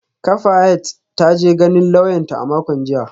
Kafayat ta je ganin lauyanta a makon jiya